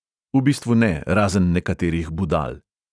V bistvu ne, razen nekaterih budal.